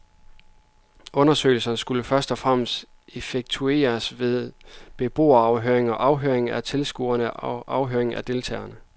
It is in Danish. Undersøgelsen skulle først og fremmest effektueres ved beboerafhøringer, afhøringer af tilskuere og afhøringer af deltagere.